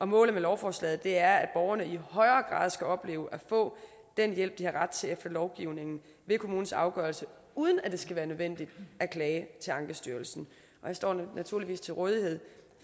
målet med lovforslaget er at borgerne i højere grad skal opleve at få den hjælp de har ret til efter lovgivningen ved kommunens afgørelse uden at det skal være nødvendigt at klage til ankestyrelsen jeg står naturligvis til rådighed